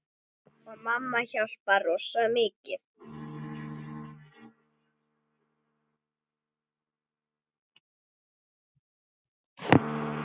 Og mamma hjálpar rosa mikið.